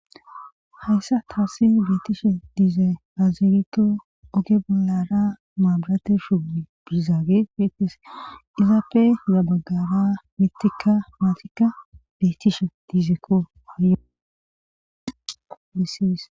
Hayssa taassi beetishe diize haazirito oge bollara maabirate shugui bizaage feetese izaape yabaggara mitika maafika beetishe diizekko haayomisiis